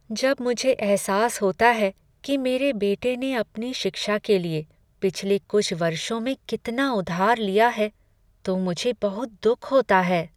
जब मुझे एहसास होता है कि मेरे बेटे ने अपनी शिक्षा के लिए पिछले कुछ वर्षों में कितना उधार लिया है तो मुझे बहुत दुख होता है।